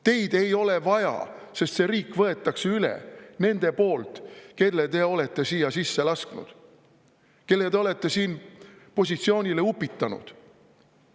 Teid ei ole vaja, sest see riik võetakse üle nende poolt, kelle te olete siia sisse lasknud, kelle te olete siin positsioonile upitanud.